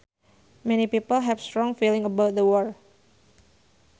Many people have strong feelings about the war